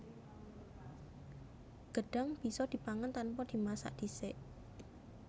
Gedhang bisa dipangan tanpa dimasak dhisik